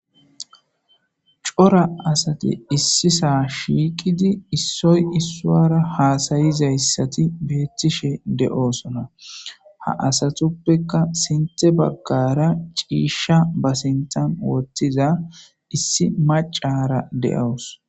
cora asati issi sohon shiiqidi issoy issuara haasayizayssati beettishe de7oosona ha asatuppeka sinte baggara ciisha basintan wottiza issi macara de7awus